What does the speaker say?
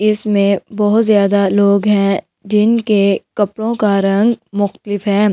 इसमें बहुत ज्यादा लोग हैं जिनके कपड़ों का रंग और --